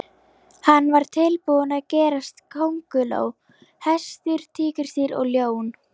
Hann var tilbúinn að gerast kónguló, hestur, tígrisdýr og ljón.